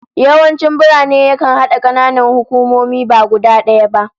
Yawanci birni yakan hada kananan hukumomi ba guda daya ba